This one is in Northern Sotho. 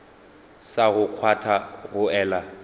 sa go kgwatha go ela